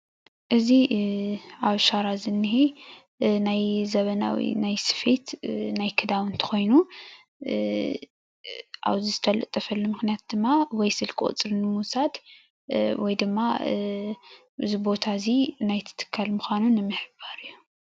እዚ ኣብ ሻራ ዝኒሀ ናይ ዘበናዊ ናይ ስፌት ናይ ክዳውንቲ ኮይኑ ኣብዚ ዝተለጠፈሉ ምክንያት ድማ ወይ ስልኪ ቁፅሪ ንምውሳድ ወይ ድማ እዚ ቦታ እዚ ናይቲ ትካል ምዃኑ ንምሕባር እዩ፡፡